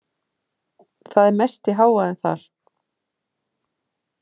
Það er mesti hávaðinn þar.